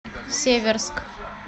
северск